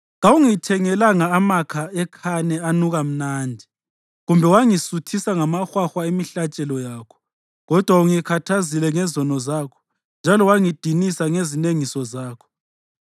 Kawungithengelanga amakha ekhane anuka mnandi, kumbe wangisuthisa ngamahwahwa emihlatshelo yakho. Kodwa ungikhathazile ngezono zakho njalo wangidinisa ngezinengiso zakho.